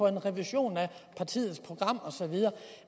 en revision af partiets program og så videre